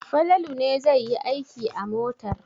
Falalu ne zai yi aiki a motar.